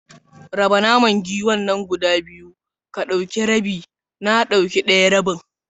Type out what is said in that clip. Raba naman giwar nan gida biyu, ka dauki rabi na dauki daya rabin.